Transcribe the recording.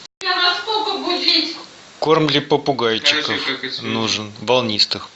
корм для попугайчиков нужен волнистых